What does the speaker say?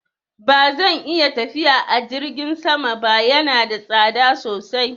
Ba zan iya tafiya a jirgin sama ba, yana da tsada sosai.